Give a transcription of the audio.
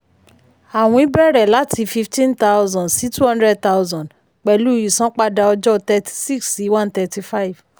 àwìn bẹ̀rẹ̀ láti fifteen thousand sí twenty thousand pẹ̀lú ìsanpadà ọjọ́ thirty six sí one thirty five